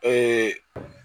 Ee